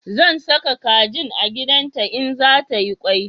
Zan sa kajin a gidan ta in za ta yi kwai